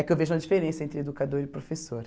É que eu vejo uma diferença entre educador e professor.